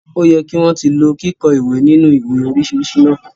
O yẹ ki wọn ti lò kikọ ìwé ninu ìwé oríṣiríṣi náà.